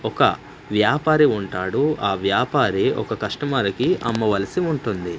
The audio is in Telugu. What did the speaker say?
ఒక వ్యాపారి ఉంటాడు ఆ వ్యాపారి ఒక కస్టమర్కి అమ్మవలసి ఉంటుంది.